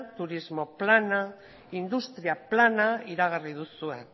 turismo plana industria plana iragarri duzue